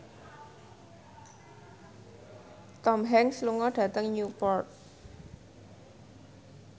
Tom Hanks lunga dhateng Newport